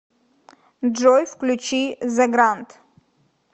джой включи зе грант